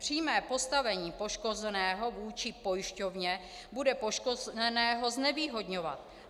Přímé postavení poškozeného vůči pojišťovně bude poškozeného znevýhodňovat.